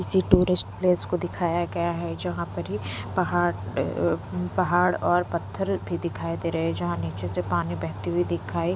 किसी tourist place को दिखाया गया है जहाँ पर ही पहाड़ अअ पहाड़ और पत्थर भी दिखाई दे रहे हैं जहाँ नीचे से पानी बहती हुई दिखाई --